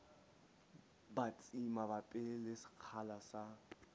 batsi mabapi le sekgahla sa